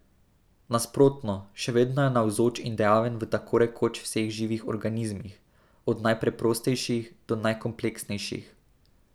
Nasprotno, še vedno je navzoč in dejaven v tako rekoč vseh živih organizmih, od najpreprostejših do najkompleksnejših.